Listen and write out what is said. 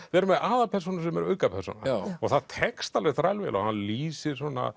vera með aðalpersónu sem er aukapersóna það tekst alveg þræl vel hann lýsir svona